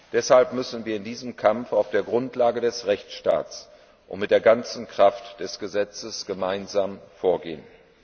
Deshalb müssen wir in diesem Kampf auf der Grundlage des Rechtsstaats und mit der ganzen Kraft des Gesetzes gemeinsam vorgehen.